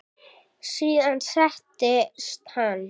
Síðan settist hann.